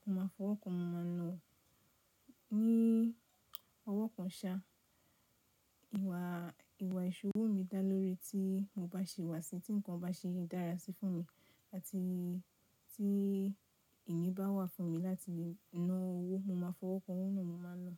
mo máa fọwọ́ kan mo máa ná ọ̀. Ní ọwọ́ kan ṣa. Ìwà, ìwà ìṣowó mi dá lóore tí mo bá ṣe wà sí tí ǹkan bá ṣe dára sí fún mi àti tí ìní bá wà fún mi láti ná owó, mo máa fọwọ́ kan owó náà mo máa ná.